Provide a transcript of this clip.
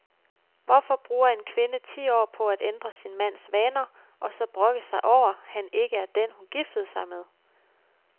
Hvorfor bruger en kvinde ti år på at ændre sin mands vaner og så brokke sig over, han ikke er den, hun giftede sig med?